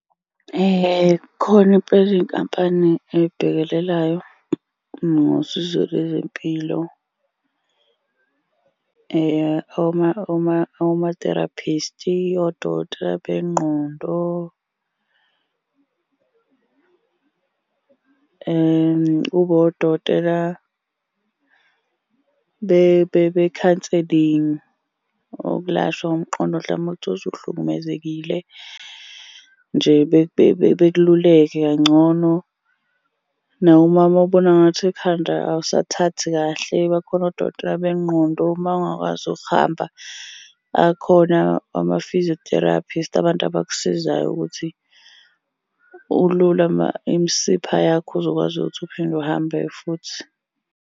Khona impela iy'nkampani ey'bhekelelayo ngosizo lezempilo. Oma-therapist-i, odokotela bengqondo. Kube odokotela be-counselling, ukulashwa komqondo hlampe uma uthola ukuthi uhlukumezekile nje bekululeke kangcono. Nawe uma ubona ngathi ekhanda awusathathi kahle bakhona odokotela bengqondo. Uma ungakwazi ukuhamba akhona ama-physiotherapist abantu abakusizayo ukuthi ulule imisipha yakho uzokwazi ukuthi uphinde uhambe-ke futhi.